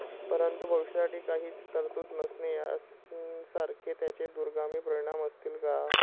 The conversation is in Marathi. परंतु, भविष्यासाठी काहीच तरतूद नसणे यांसारखे त्याचे दूरगामी परिणाम असतील का?